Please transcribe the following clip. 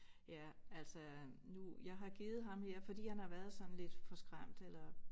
Ja altså nu jeg har givet ham her fordi han har været sådan lidt forskræmt eller